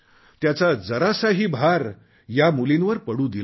त्याचा जरासाही भार या मुलींवर पडू दिला नाही